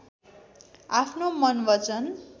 आफ्नो मन वचन